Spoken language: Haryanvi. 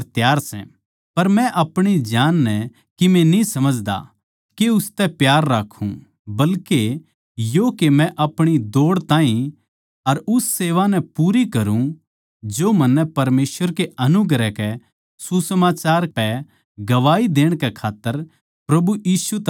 पर मै अपणी जान नै किमे न्ही समझदा के उसतै प्यार राक्खूँ बल्के यो के मै अपणी दौड़ ताहीं अर उस सेवा नै पूरी करूँ जो मन्नै परमेसवर कै अनुग्रह के सुसमाचार पै गवाही देण कै खात्तर प्रभु यीशु तै पाई सै